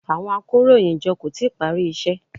Àwọn akóròyìnjọ kò tíì parí iṣẹ́.